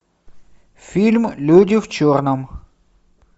фильм люди в черном